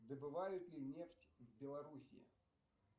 добывают ли нефть в белоруссии